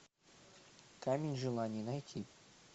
камень желаний найти